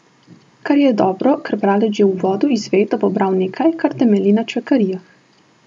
Kar je dobro, ker bralec že v uvodu izve, da bo bral nekaj, kar temelji na čvekarijah.